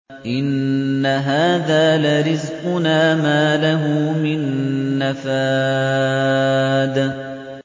إِنَّ هَٰذَا لَرِزْقُنَا مَا لَهُ مِن نَّفَادٍ